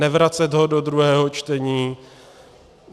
Nevracet ho do druhého čtení.